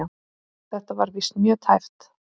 Þetta var víst mjög tæpt.